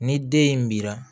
Ni den in bira